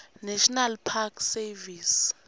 national park service